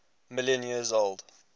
million years old